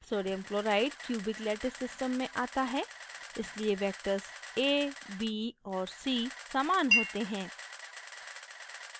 sodium chloride cubic lattice system में आता है इसलिए vectors a b और c समान होते हैं